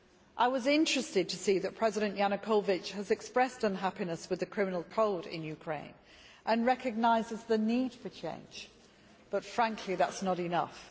I was interested to see that President Yanukovych has expressed unhappiness with the Criminal Code in Ukraine and recognises the need for change but frankly that is not enough.